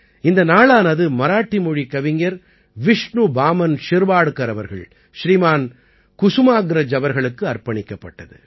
இந்த நாளானது மராட்டி மொழிக் கவிஞர் விஷ்ணு பாமன் ஷிர்வாட்கர் அவர்கள் ஸ்ரீமான் குசுமாக்ரஜ் அவர்களுக்கு அர்ப்பணிக்கப்பட்டது